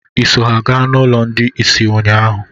Ịso ha gaa n'ụlọ ndị isi ụnyaahụ?